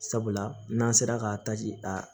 Sabula n'an sera k'a a